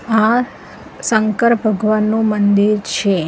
આ સંકર ભગવાનનુ મંદિર છે.